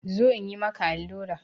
Zo in yi maka allura!